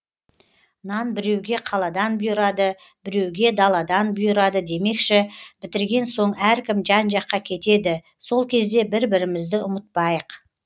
нан біреуге қаладан бұйырады біреуге даладан бұйырады демекші бітірген соң әркім жан жаққа кетеді сол кезде бір бірімізді ұмытпайық